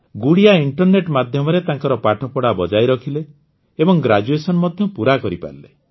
Gudiya internet ମାଧ୍ୟମରେ ତାଙ୍କର ପାଠପଢ଼ା ବଜାୟ ରଖିଲେ ଏବଂ ଗ୍ରାଜୁଏସନ୍ ମଧ୍ୟ ପୁରା କରିପାରିଲେ